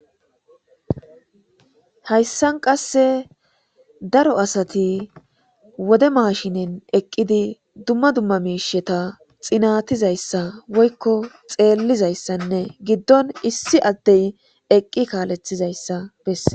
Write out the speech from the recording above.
Haysan qase daro asati wode mashinnen eqidi duma duma mishata xinatizaysa woyko xelizaysanne gidon issi adey eqi kaletizaysa beses.